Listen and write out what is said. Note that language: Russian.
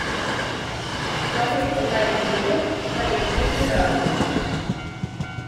смотреть онлайн триллер коллективный разум